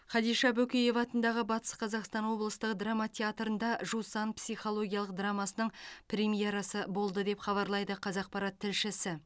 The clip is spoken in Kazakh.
хадиша бөкеева атындағы батыс қазақстан облыстық қазақ драма театрында жусан психологиялық драмасының премьерасы болды деп хабарлайды қазақпарат тілшісі